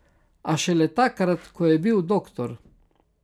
A šele takrat, ko je bil doktor.